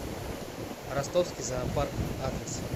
ростовский зоопарк адрес